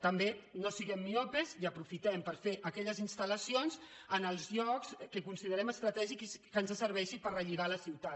també no siguem miops i aprofitem per fer aquelles installlocs que considerem estratègics i que ens serveixi per relligar la ciutat